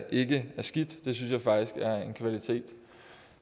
ikke er skidt det synes jeg faktisk er en kvalitet